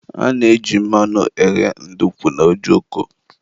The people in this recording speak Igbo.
a na-eji mmanụ eghe ndukwu na ojoko